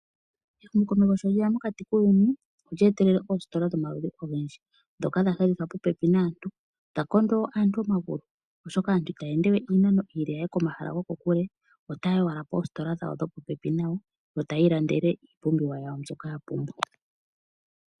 Ehumo komesho sho lyeya mokati kuuyuni ,olye etelele ositola dhomaludhi ogendji dhoka dha hedhithwa popi naantu, dhakondo anantu omagulu oshoka aantu itaya endewe iinamo ile yahe komashala gwokokule we Otay wala positola dhopopepi nayo yo tayilandele ipumbiwa yawo mboka ya pumbwa.